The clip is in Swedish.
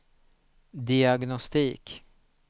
diagnostik